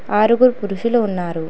ఆరుగురు పురుషులు ఉన్నారు.